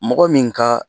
Mɔgɔ min ka